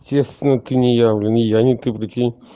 честно ты не я блин и я не ты прикинь